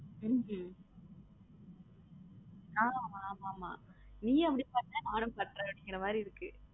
உம் உம் ஆமா ஆமா நீயும் அப்படி பண்ண நானும் அப்படி பண்ற அப்பிடிங்கிற மாதிரி இருக்கு.